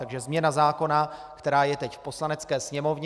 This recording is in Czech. Takže změna zákona, která je teď v Poslanecké sněmovně.